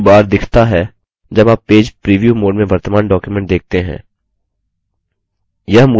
page preview bar दिखता है जब आप पेज प्रिव्यू mode में वर्तमान document देखते हैं